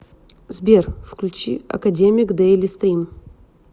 сбер включи академег дэйлистрим